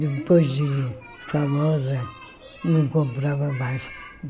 Depois de famosa, não comprava mais.